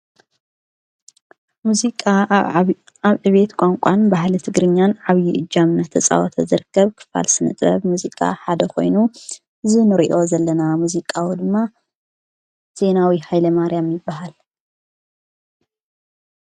ሙዚቃ ኣብ ዕቤት ቛንቋን ባህለ ቲ ግርኛን ዓብዪ ዕጃምና ተፃዖተ ዘርከብ ክፋልስን ጥበብ ሙዚቃ ሓደ ኾይኑ ዝኑሪእዮ ዘለና ሙዚቃዊ ድማ ዜናዊ ሃይለ ማርያም ይበሃል።